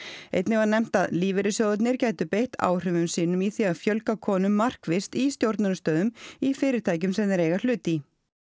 einnig var nefnt að lífeyrissjóðirnir gætu beitt áhrifum sínum í því að fjölga konum markvisst í stjórnunarstöðum í fyrirtækjum sem þeir eiga hlut í